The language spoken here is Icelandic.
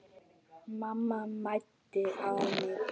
Mamma mændi á mig.